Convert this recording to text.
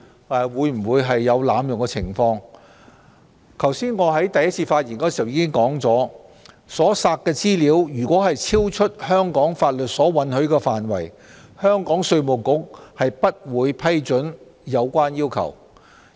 我在剛才就此兩項決議案作出的開場發言時已提到，所索取的資料如超出香港法律允許的範圍，香港稅務局不會批准有關要求。